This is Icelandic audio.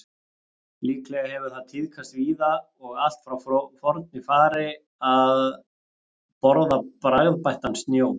Líklega hefur það tíðkast víða og allt frá forni fari að borða bragðbættan snjó.